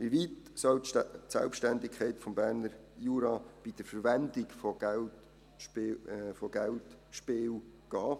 Wie weit soll die Selbstständigkeit des Berner Juras bei der Verwendung von Geldspielgeldern gehen?